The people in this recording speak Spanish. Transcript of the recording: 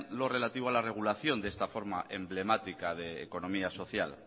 lo relativo a la regulación de esta forma emblemática de economía social